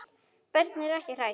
Börnin eru ekki hrædd.